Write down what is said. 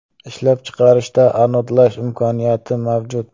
Ishlab chiqarishda anodlash imkoniyati mavjud.